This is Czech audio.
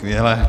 Skvělé.